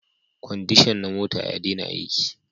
Kwandishan na mota ya dena aiki